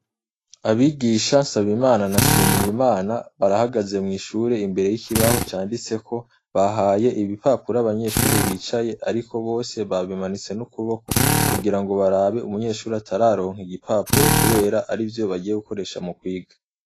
Abigisha NSABIMANA na NSHIMIYIMANA barahagaze mwishure imbere yikibaho canditseko bahaye ibipapuro abanyeshure bicaye ariko bose bamanitse n'ukuboko kugirango barabe umunyeshure atararonka igipapuro kubera arivyo bagiye gukoresha mukwiga.